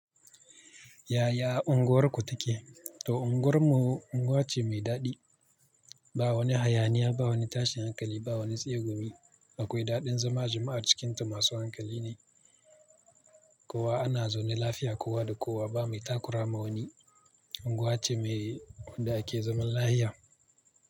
Yaya unguwarku take? To unguwar mu unguwa ce mai daɗi ba wani hayaniya, ba wani tashin hankali, ba wani tsegumi. Akwai daɗin zama, jama'ar cikinta masu hankali ne. Kowa ana zaune lafiya kowa da kowa ba mai takurama wani. Unguwa ce mai wanda a ke zaman lafiya.